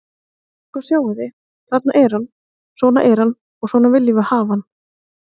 Sko, sjáið þið, þarna er hann, svona er hann og svona viljum við hafa hann.